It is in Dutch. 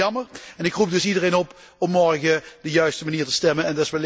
Ik vind dat erg jammer en ik roep dus iedereen op om morgen op de juiste manier te stemmen.